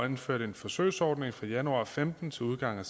indført en forsøgsordning fra januar og femten til udgangen